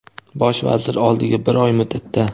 Bosh vazir oldiga bir oy muddatda:.